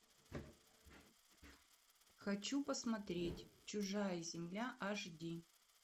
хочу посмотреть чужая земля аш ди